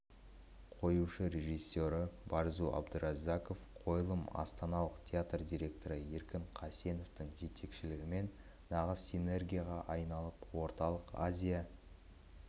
қоюшы режиссері барзу абдураззаков қойылым астаналық театр директоры еркін қасеновтың жетекшілігімен нағыз синергияға айналып орталық азия